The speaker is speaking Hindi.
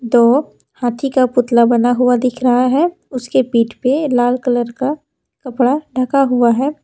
तो हाथी का पुतला बना हुआ दिख रहा है उसके पीठ पे लाल कलर का कपड़ा ढका हुआ है।